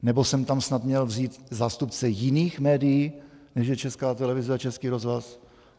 Nebo jsem tam snad měl vzít zástupce jiných médií, než je Česká televize a Český rozhlas?